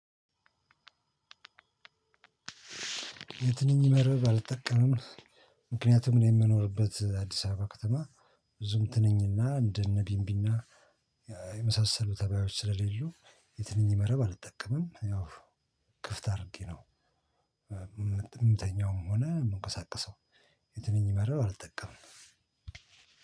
የትንኝ መርብ አልጠቀምም ምክንያቱም እኔ የምኖርበት አዲስ አበባ ከተማ ብዙም ትንኝና እንደነ ቢንቢና እ የመሳሰሉ ተባዮች ስለሌሉ የትንኝ መረብ አልጠቀምም ያው ክፍት አድርጌ ነው የምተኛውም ሆነ የምትቀሳቀሰው የትንኝ መረብ አልጠቀምም።